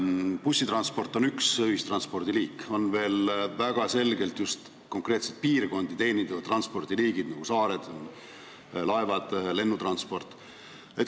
Bussitransport on üks ühistranspordi liik, aga on veel ka väga selgelt just konkreetseid piirkondi, näiteks saari teenindavad transpordiliigid, nagu laevad ja lennukid.